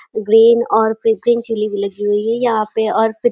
green और प्रीग्रीन chilli भी लगी हुई है यहाँ पे और --